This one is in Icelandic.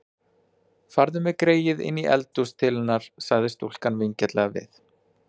Farðu með greyið inní eldhús til hennar, sagði stúlkan vingjarnlega við